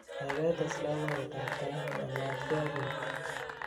gaigai tes loboiyet at tait mayamatgen ak nii